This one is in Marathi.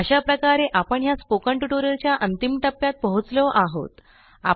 अशा प्रकारे आपण ह्या स्पोकन ट्युटोरियलच्या अंतिम टप्प्यात पोहोचलो आहोत